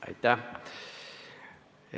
Aitäh!